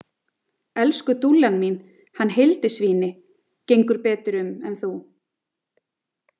Elsku dúllan mín, hann Hildisvíni, gengur betur um en þú.